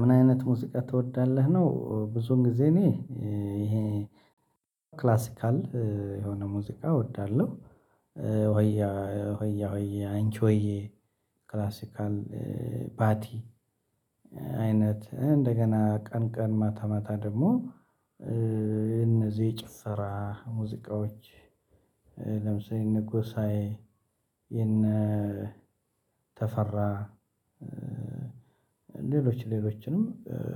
ምን አይነት ሙዚቃ ትወዳለህ ነው? ብዙን ጊዜ እኔ ይሄ ክላሲካል የሆነ ሙዚቃ እወዳለሁ ወይ ሆያ ሆዬ አንቺሆዩ፥ ክላሲካል፥ ባቲ አይነት እንደገና ቀን ቀን ማታ ማታ ደግሞ እነዚህ የጭፈራ ሙዚቃዎች ለምሳሌ እነ ጎሳዬ የነ ተፈራ ሌሎች ሌሎችንም